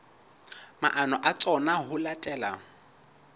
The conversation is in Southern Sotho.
maano a tsona ho latela